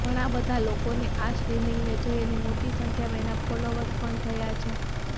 ઘણાં બધાં લોકોએ આ સ્ટ્રીમિંગને જોઈ અને મોટી સંખ્યામાં એના ફોલોવર્સ પણ થયા છે